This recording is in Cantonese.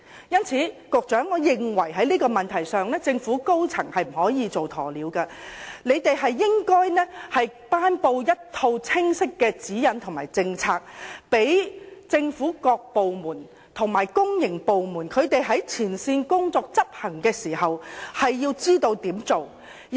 因此，局長，我認為在這個問題上，政府高層是不可以"做鴕鳥"的，他們應該頒布清晰的指引和政策，讓政府各部門和公營部門，在執行前線工作時知道應如何處理。